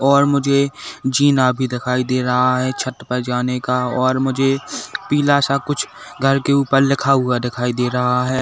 और मुझे जीना भी दिखाई दे रहा है छत पर जाने का और मुझे पीला सा कुछ घर के ऊपर लिखा हुआ दिखाई दे रहा है।